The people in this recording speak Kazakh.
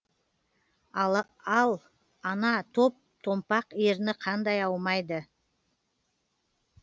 ал ана топ томпақ ерні қандай аумайды